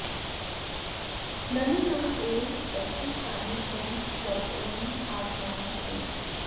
ननु नैव कश्चित् प्राणी स्वयं स्वं आत्मानं हिनस्ति